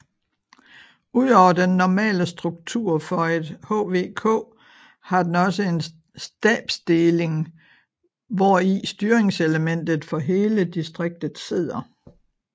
Ud over den normale struktur for et HVK har den også en stabsdeling hvor i styringselementet for hele distriktet sidder